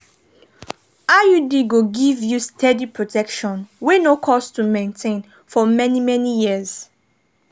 iud go give you steady protection wey no cost to maintain for many-many years.